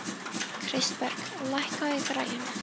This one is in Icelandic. Kristberg, lækkaðu í græjunum.